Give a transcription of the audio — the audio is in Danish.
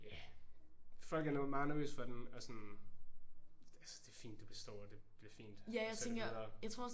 Ja folk er meget nervøse for den og sådan altså det er fint du består og det fint altså videre